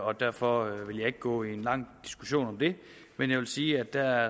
og derfor vil jeg ikke gå ind i en lang diskussion om det men jeg vil sige at der